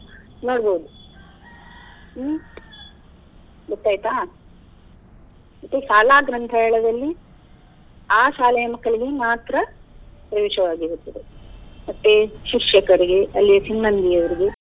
ನೋಡ್ಬೋದು ಹ್ಮ್‌ ಗೊತ್ತಾಯ್ತಾ ಮತ್ತೆ ಶಾಲಾ ಗ್ರಂಥಾಲಯದಲ್ಲಿ ಆ ಶಾಲೆಯ ಮಕ್ಕಳಿಗೆ ಮಾತ್ರ ರುಜು ಆಗಿರ್ತದೆ ಮತ್ತೆ ಶಿಕ್ಷಕರಿಗೆ ಅಲ್ಲಿಯ ಸಿಬ್ಬಂದಿ ಅವರಿಗೆ.